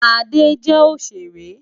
Ade jè óṣéré